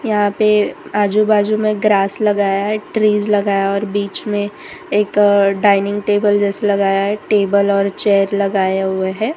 यहां पे आजू बाजू में ग्रास लगाया है ट्रिज लगाए और बीच में एक डाइनिंग टेबल जैसे लगाया है टेबल और चेयर लगाए हुए हैं।